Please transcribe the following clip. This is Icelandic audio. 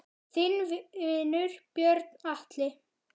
Þinn vinur, Björn Atli.